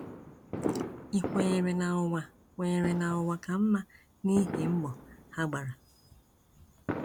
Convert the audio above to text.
Ị kwenyere na ụwa kwenyere na ụwa ka mma n’ihi m̀gbọ̀ ha gbara,